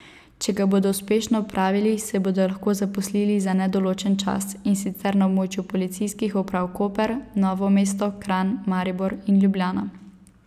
Če ga bodo uspešno opravili, se bodo lahko zaposlili za nedoločen čas, in sicer na območju policijskih uprav Koper, Novo mesto, Kranj, Maribor in Ljubljana.